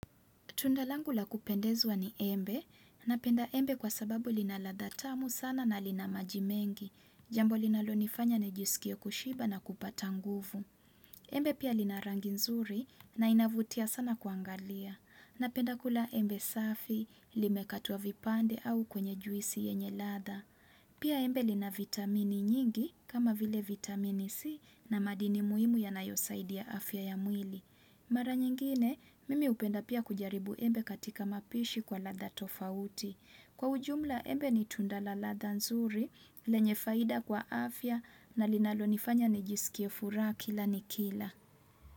Tundalangu la kupendeza ni embe, na penda embe kwa sababu linaladha tamu sana na lina majimengi, jambo linalo nifanya nejisikie kushiba na kupata nguvu. Embe pia lina rangi nzuri na inavutia sana kuangalia. Na penda kula embe safi, lime katwa vipande au kwenye juisi yenye latha. Pia embe lina vitamini nyingi kama vile vitamini C na madini muhimu yanayo saidia afya ya mwili. Mara nyingine, mimi hupenda pia kujaribu embe katika mapishi kwa latha tofauti. Kwa ujumla embe ni tunda la latha nzuri, lenye faida kwa afya na linalo nifanya ni jisikiefura kila niki ila.